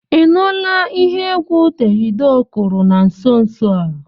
Ị nụla ihe egwu Davido kụrụ na nso nso a?